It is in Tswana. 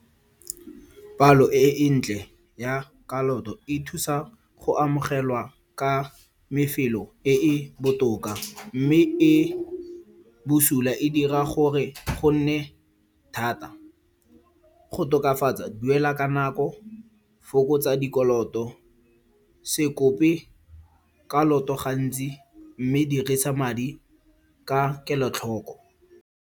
Palo e e ntle ya kaloto e thusa go amogelwa ka mefelo e e botoka, mme e bosula e dira gore gonne thata. Go tokafatsa, duela ka nako, fokotsa dikoloto, se kope kaloto gantsi mme dirisa madi ka kelotlhoko.